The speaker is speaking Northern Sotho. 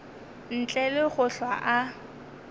ntle le go hlwa a